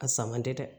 A sama tɛ dɛ